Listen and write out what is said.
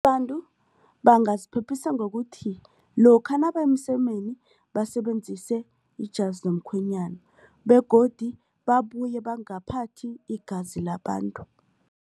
Abantu bangaziphephisa ngokuthi lokha nabaya emsemeni basebenzise ijazi lomkhwenyana begodu babuye bangaphathi igazi labantu.